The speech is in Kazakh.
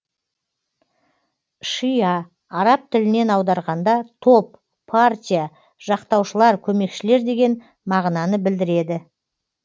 шиа араб тілінен аударғанда топ партия жақтаушылар көмекшілер деген мағынаны білдіреді